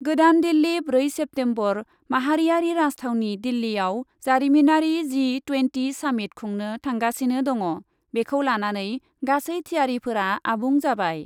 गोदान दिल्ली, ब्रै सेप्तेम्बरः माहारियारि राजथावनि दिल्लीआव जारिमिनारि जी टुयेन्टि सामिट खुंनो थांगासिनो दङ, बेखौ लानानै गासै थियारिफोरा आबुं जाबाय ।